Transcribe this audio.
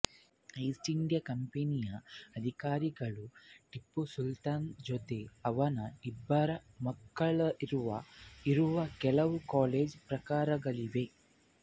East India ಕಂಪೆನಿಯ ಅಧಿಕಾರಿಗಳು ಟಿಪ್ಪು ಸುಲ್ತಾನ್ ಜೊತೆ ಅವನ ಇಬ್ಬರು ಮಕ್ಕಳಿರುವ ಇರುವ ಕೆಲವು ಕಲೆಯ ಪ್ರಕಾರಗಳಿವೆ